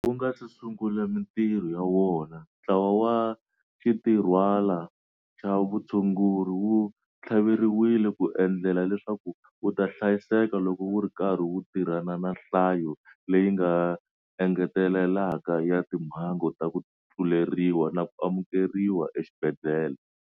Wu nga se sungula mitirho ya wona, Ntlawa wa Xintirhwana xa Vutshunguri wu tlhaveriwile ku endlela leswaku wu ta hlayiseka loko wu ri karhi wu tirhana na nhlayo leyi nga engeteleleka ya timhangu ta ku tluleriwa na ku amukeriwa exibedhlele.